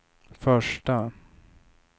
första